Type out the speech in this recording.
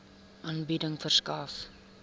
aanbieding verskaf